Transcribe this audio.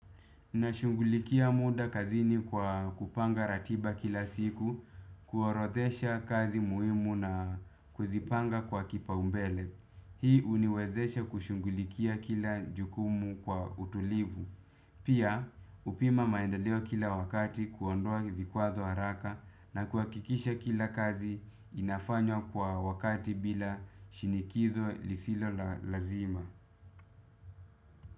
Nashungulikia muda kazini kwa kupanga ratiba kila siku, kuorodhesha kazi muhimu na kuzipanga kwa kipaumbele. Hii uniwezesha kushughulikia kila jukumu kwa utulivu. Pia, hupima maendeleo kila wakati kuondoa vikwazo haraka na kuhakikisha kila kazi inafanywa kwa wakati bila shinikizo lisilo lazima.